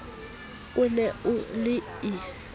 o ne o le e